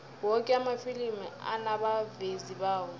woke amafilimi anabavezi bawo